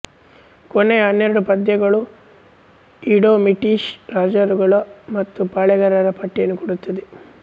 ಕೊನೆಯ ಹನ್ನೆರಡು ಪದ್ಯಗಳು ಈಡೋಮಿಟಿಷ್ ರಾಜರುಗಳ ಮತ್ತು ಪಾಳೆಯಗಾರರ ಪಟ್ಟಿಯನ್ನು ಕೊಡುತ್ತದೆ